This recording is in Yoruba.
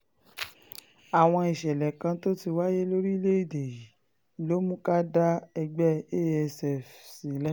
àwọn ìṣẹ̀lẹ̀ kan tó ti wáyé lórílẹ̀‐èdè yìí ló mú ká dá ẹgbẹ́ asf sílẹ̀